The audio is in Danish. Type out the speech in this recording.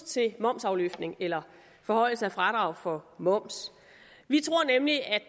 til momsafløftning eller forhøjelse af fradrag for moms vi tror nemlig at